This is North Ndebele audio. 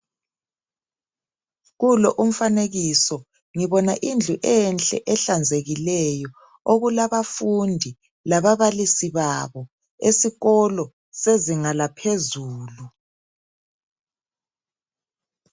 Kulo umfanekiso ngibona indlu enhle ehlanzekileyo okulabafundi lababalisi babo esikolo sezinga laphezulu.